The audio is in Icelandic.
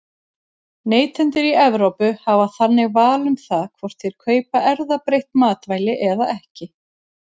Neytendur í Evrópu hafa þannig val um það hvort þeir kaupa erfðabreytt matvæli eða ekki.